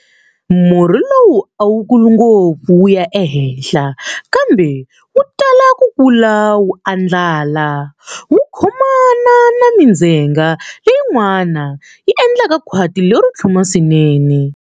Murhi lowu a wu kuli ngopfu wu ya ehenhla, kambe wu tala ku kula wu andlala wu khomana na mindzhenga leyin'wana yi endla khwati lero tlhuma swinene.